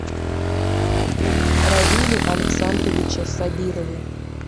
равиле александровиче сабирове